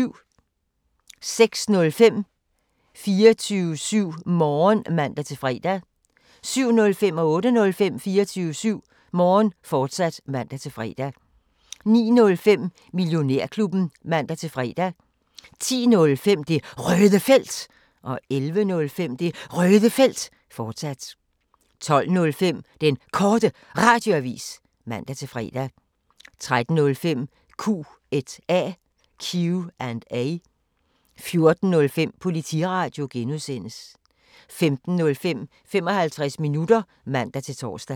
06:05: 24syv Morgen (man-fre) 07:05: 24syv Morgen, fortsat (man-fre) 08:05: 24syv Morgen, fortsat (man-fre) 09:05: Millionærklubben (man-fre) 10:05: Det Røde Felt 11:05: Det Røde Felt, fortsat 12:05: Den Korte Radioavis (man-fre) 13:05: Q&A 14:05: Politiradio (G) 15:05: 55 minutter (man-tor)